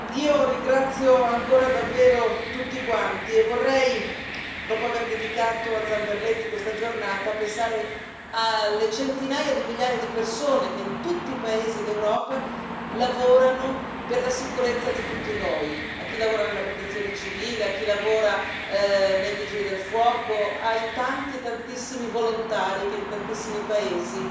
Io ringrazio ancora davvero tutti quanti, e vorrei, dopo aver dedicato a Zamberletti questa giornata, pensare alle centinaia di migliaia di persone che in tutti i paesi d'Europa lavorano per la sicurezza di tutti noi a chi lavora nella protezione civile, a chi lavora nei vigili del fuoco, ai tanti, tantissimi volontari che in tantissimi paesi